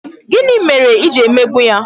Gịnị mere I ji emegbu ya?